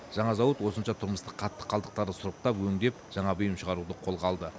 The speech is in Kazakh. жаңа зауыт осынша тұрмыстық қатты қалдықтарды сұрыптап өңдеп жаңа бұйым шығаруды қолға алды